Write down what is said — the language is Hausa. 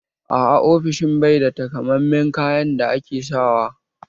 A'a, ofishin bai da takamammen kayan da ake sawa